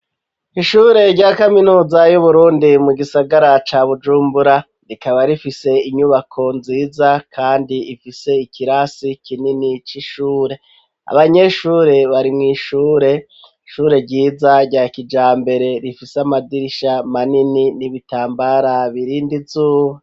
Ishure rya kaminuza y'uburundi mu gisagara ca bujumbura rikaba rifise inyubako nziza, kandi ifise ikirasi kinini c'ishure abanyeshure barimw'ishure ishure ryiza rya kija mbere rifise amadirisha manini n'ibitambara birindi zuba.